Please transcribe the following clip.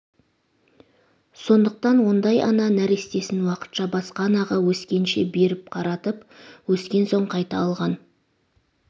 сондықтан ондай ана нәрестесін уақытша басқа анаға өскенше беріп қаратып өскен соң қайта алған